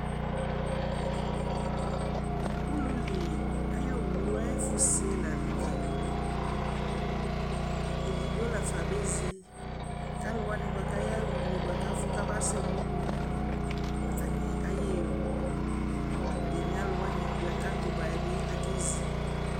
Ululi ayʋ owu ayʋ ɛfʋse la nʋ tɛ Edigbo la fa abezi kʋ alʋ wanɩ bʋa kʋ ayaɣa une bʋa kʋ afʋ kamasɛ nʋ ululi mʋa, atanɩ ayaɣa emu Ɛdɩnɩ alʋ wanɩ bɩ akatʋ ba yɛ bɩ akezi